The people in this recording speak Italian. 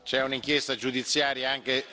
C'è un'inchiesta giudiziaria.